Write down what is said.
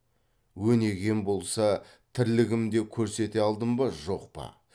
өнегем болса тірлігімде көрсете алдым ба жоқ па